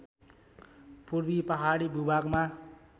पूर्वी पहाडी भूभागमा